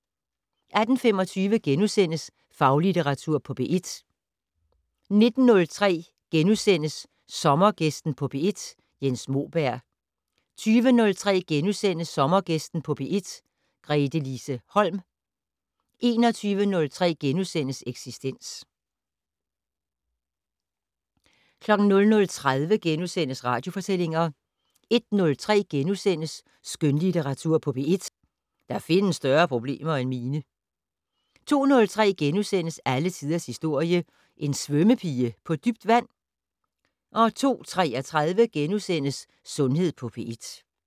18:25: Faglitteratur på P1 * 19:03: Sommergæsten på P1: Jens Moberg * 20:03: Sommergæsten på P1: Gretelise Holm * 21:03: Eksistens * 00:30: Radiofortællinger * 01:03: Skønlitteratur på P1: Der findes større problemer end mine * 02:03: Alle tiders historie: En svømmepige på dybt vand? * 02:33: Sundhed på P1 *